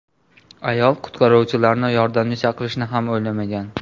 Ayol qutqaruvchilarni yordamga chaqirishni ham o‘ylamagan.